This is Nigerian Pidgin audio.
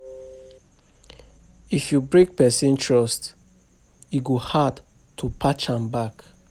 If you break person trust, e go hard to patch am back.